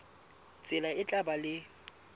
tsela e tla ba le